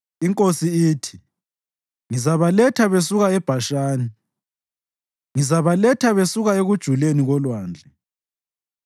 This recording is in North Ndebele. INkosi ithi, “Ngizabaletha besuka eBhashani; ngizabaletha besuka ekujuleni kolwandle,